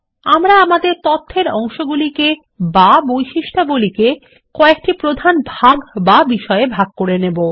আমরা আমাদের তথ্য এর অংশগুলিকে বা বৈশিষ্ট্যাবলী কয়েকটি প্রধান ভাগ বা বিষয়ে ভাগ করে নেব